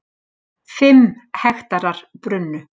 Fimm hektarar brunnu